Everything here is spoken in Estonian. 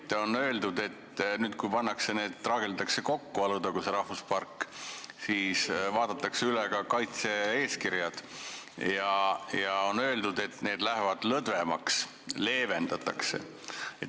Siin on öeldud, et nüüd, kui traageldatakse kokku Alutaguse rahvuspark, siis vaadatakse üle ka kaitse-eeskirjad, ja on ka öeldud, et need lähevad lõdvemaks, neid leevendatakse.